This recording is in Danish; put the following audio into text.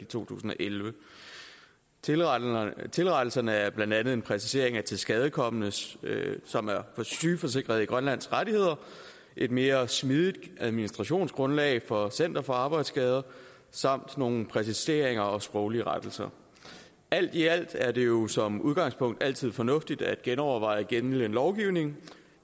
i to tusind og elleve tilrettelserne tilrettelserne er blandt andet en præcisering af tilskadekomne som er sygeforsikret i grønland et mere smidigt administrationsgrundlag for center for arbejdsskader samt nogle præciseringer og sproglige rettelser alt i alt er det jo som udgangspunkt altid fornuftigt at genoverveje gældende lovgivning